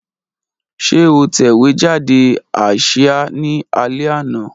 Ṣe o tẹ̀wejàde asia ni alẹ ana?